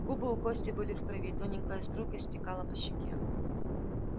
губы у кости были в крови тоненькая струйка стекала по щеке